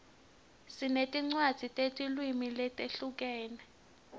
sinetincwadzi tetilwimi letihlukene